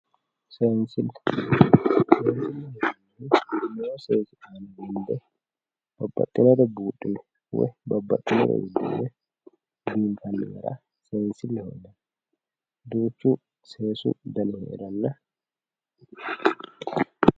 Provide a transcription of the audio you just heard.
Seenisile babaxewore buudhine woyi babaxewore biinfani gara seenisileho yinani duuchu seesu dani heerano.